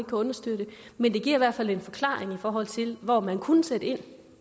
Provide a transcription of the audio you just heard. understøtte men det giver i hvert fald en forklaring i forhold til hvor man kunne sætte ind